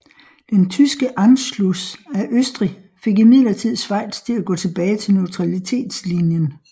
Den tyske Anschluss af Østrig fik imidlertid Schweiz til at gå tilbage til neutralitetslinjen